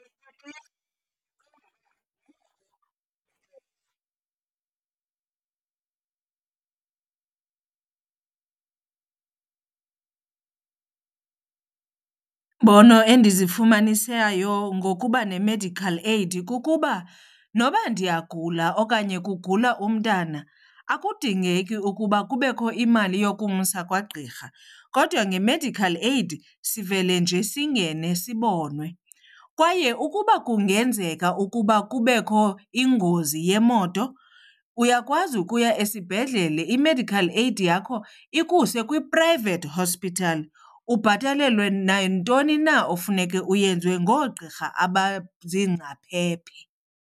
Iimbono endizifumanisayo ngokuba ne-medical aid kukuba noba ndiyagula okanye kugula umntana akudingeki ukuba kubekho imali yokumsa kwagqirha kodwa nge medical aid sivele nje singene sibonwe. Kwaye ukuba kungenzeka ukuba kubekho ingozi yemoto uyakwazi ukuya esibhedlele, i-medical aid yakho ikuse kwi-private hospital ubhatalelwe nantoni na ofuneke uyenzwe ngoogqirha abaziingcaphephe.